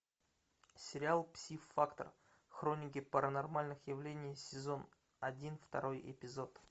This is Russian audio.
сериал пси фактор хроники паранормальных явлений сезон один второй эпизод